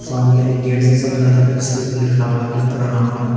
सामने एक गेट जैसा बना रखा है जिसके ऊपर लिखा हुआ हैं प्रणाम।